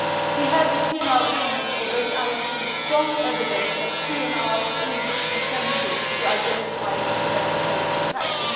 We have PNR agreements. I already have seen strong evidence that PNR is essential to identify and to prevent terrorist attacks.